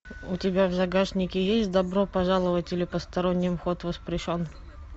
у тебя в загашнике есть добро пожаловать или посторонним вход воспрещен